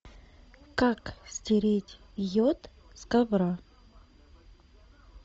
как стереть йод с ковра